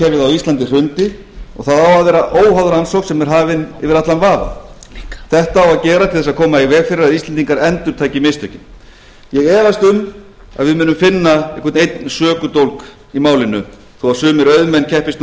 íslandi hrundi og það á að vera óháð rannsókn sem er hafin yfir allan vafa þetta á að gerast til þess að koma í veg fyrir að íslendingar endurtaki mistökin ég efast um að við munum finna einhvern einn sökudólg í málinu þó sumir auðmenn keppist nú við